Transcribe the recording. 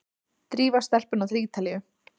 Drífa stelpuna til Ítalíu!